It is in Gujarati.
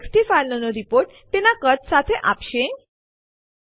જો તેમના સમાવિષ્ટો માં તફાવતો હશે તો પછી પ્રથમ મિસમેચનું સ્થાન ટર્મિનલ પર છાપવામાં આવશે